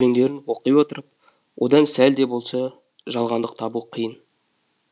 өлендерін оқи отырып одан сәл де болса жалғандық табу қиын